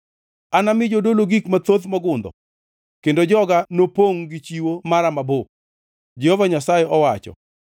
Anami jodolo gik mathoth mongundho, kendo joga nopongʼ, gi chiwo mara mabup,” Jehova Nyasaye owacho.